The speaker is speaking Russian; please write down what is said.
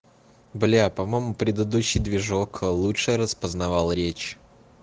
бля по-моему предыдущий движок лучше распознавал речь